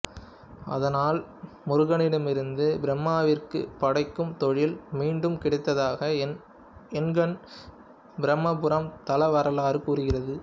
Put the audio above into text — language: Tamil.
அதனால் முருகனிடமிருந்து பிரம்மாவிற்கு படைக்கும் தொழில் மீண்டும் கிடைத்ததாக எண்கண் பிரம்மபுரம் தல வரலாறு கூறுகிறது